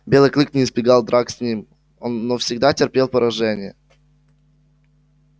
белый клык не избегал драк с ним но всегда терпел поражение